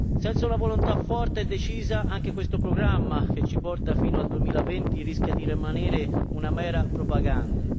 Senza una volontà forte e decisa, anche questo programma, che ci porta fino al 2020, rischia di rimanere una mera propaganda.